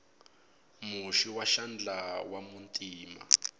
muhoxi wa xandla wa muntima